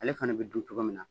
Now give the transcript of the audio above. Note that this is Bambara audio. Ale fana bɛ dun cogo min na